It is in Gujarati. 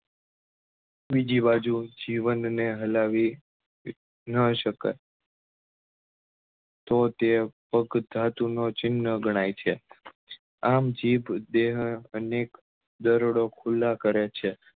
બીજી બાજુ જીવન ને હલાવી નાં સકાય તો તે પોક ધાતુ નો ચિન્હ ગણાય છે આમ જીભ દેહ અનેક દરોડો ખુલ્લા કરે છે